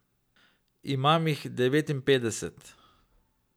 Imam jih devetinpetdeset.